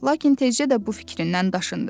lakin tezcə də bu fikrindən daşındı.